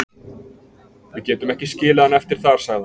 Við getum ekki skilið hann eftir þar, sagði hann.